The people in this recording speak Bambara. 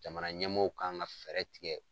Jamana ɲɛmɔɔw kan ga fɛɛrɛ tigɛ